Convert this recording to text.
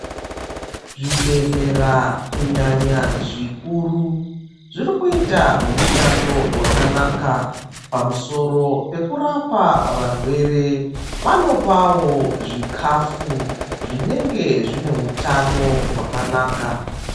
Zvibhehlera kunyanya zvikuru ,zvirikuita mushando wakanaka pamusoro pekurapa varwere, vanopawo zvikafu zvinenge zvine utano hwakanaka.